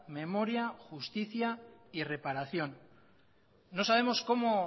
memoria justicia y reparación no sabemos cómo